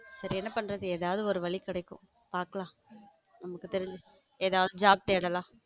சேரி என்ன பண்றது ஏதாவது ஒரு வழி கிடைக்கும் பார்க்கலாம் நமக்கு தெரிஞ்சு ஏதாவது job தேடலாம்.